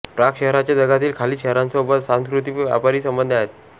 Prague शहरचे जगातील खालील शहरांसोबत सांस्कृतिक व व्यापारी संबंध आहेत